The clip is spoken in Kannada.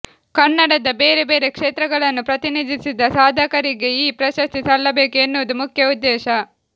ಕನ್ನಡದ ಬೇರೆ ಬೇರೆ ಕ್ಷೇತ್ರಗಳನ್ನು ಪ್ರತಿನಿಧಿಸಿದ ಸಾಧಕರಿಗೆ ಈ ಪ್ರಶಸ್ತಿ ಸಲ್ಲಬೇಕು ಎನ್ನುವುದು ಮುಖ್ಯ ಉದ್ದೇಶ